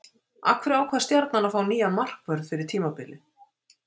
Af hverju ákvað Stjarnan að fá nýjan markvörð fyrir tímabilið?